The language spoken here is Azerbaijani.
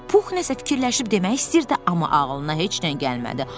Pux nəsə fikirləşib demək istəyirdi, amma ağlına heç nə gəlmədi.